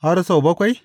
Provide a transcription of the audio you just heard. Har sau bakwai?